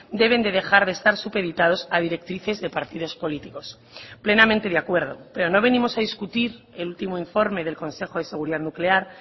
deben de dejar de estar supeditados a directrices de partidos políticos plenamente de acuerdo pero no venimos a discutir el último informe del consejo de seguridad nuclear